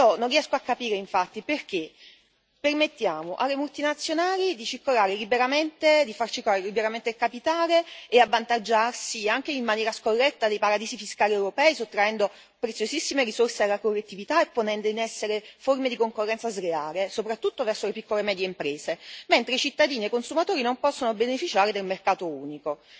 Non riesco a capire, infatti, perché permettiamo alle multinazionali di far circolare liberamente il capitale e di avvantaggiarsi anche in maniera scorretta dei paradisi fiscali europei, sottraendo preziosissime risorse alla collettività e ponendo in essere forme di concorrenza sleale, soprattutto verso le piccole e medie imprese, mentre i cittadini e i consumatori non possono beneficiare del mercato unico.